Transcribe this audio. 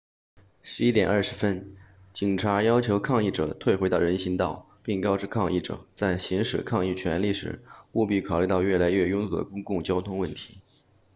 11点20分警察要求抗议者退回到人行道并告知抗议者在行使抗议权利时务必考虑到越来越拥堵的公共交通问题